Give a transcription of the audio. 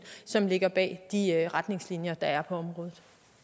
som ligger bag de retningslinjer der er på området